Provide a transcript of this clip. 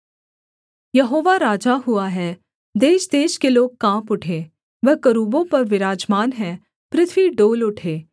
यहोवा राजा हुआ है देशदेश के लोग काँप उठें वह करूबों पर विराजमान है पृथ्वी डोल उठे